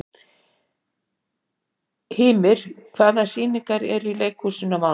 Hymir, hvaða sýningar eru í leikhúsinu á mánudaginn?